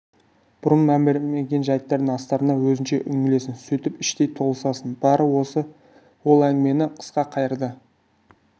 бұрын мән бермеген жайттардың астарына өзіңше үңілесің сөйтіп іштей толысасың бары осы ол әңгімені қысқа қайырды